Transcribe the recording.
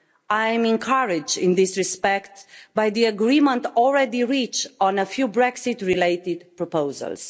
I'm encouraged in this respect by the agreement already reached on a few Brexit related proposals.